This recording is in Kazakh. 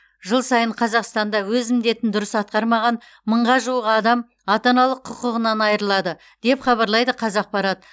жыл сайын қазақстанда өз міндетін дұрыс атқармаған мыңға жуық адам ата аналық құқығынан айырылады деп хабарлайды қазақпарат